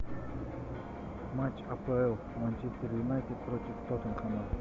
матч апл манчестер юнайтед против тоттенхэма